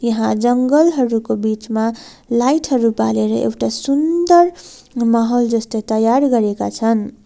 यहाँ जंगल हरूकाे बीचमा लाईट हरू बालेर एउटा सुन्दर माहोल जस्तो तयार गरेका छन्।